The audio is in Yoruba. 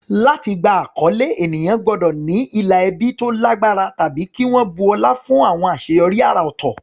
Láti gba àkọlé, ènìyàn gbọ́dọ̀ ní ìlà ẹbí tó lágbára tàbí kí wọ́n bu ọlá fún àwọn àṣeyọrí àrà ọ̀tọ̀.